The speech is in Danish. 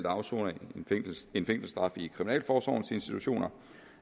afsoner fængselsstraffe i kriminalforsorgens institutioner